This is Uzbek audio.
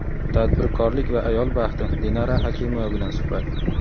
tadbirkorlik va ayol baxti — Dinara Hakimova bilan suhbat.